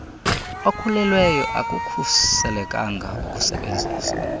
okhulelweyo akukhuselekanga ukusebenzisa